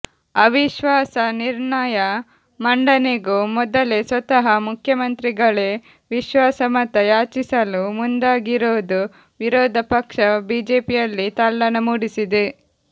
ಅವಿಶ್ವಾಸ ನಿರ್ಣಯ ಮಂಡನೆಗೂ ಮೊದಲೇ ಸ್ವತಃ ಮುಖ್ಯಮಂತ್ರಿಗಳೇ ವಿಶ್ವಾಸಮತ ಯಾಚಿಸಲು ಮುಂದಾಗಿರೋದು ವಿರೋಧ ಪಕ್ಷ ಬಿಜೆಪಿಯಲ್ಲಿ ತಲ್ಲಣ ಮೂಡಿಸಿದೆ